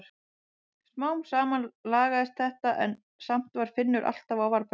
Smám saman lagaðist þetta en samt var Finnur alltaf á varðbergi.